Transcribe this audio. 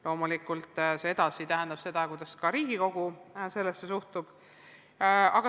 Loomulikult see tähendab seda, et edasi on vaja teada, kuidas Riigikogu sellesse suhtub.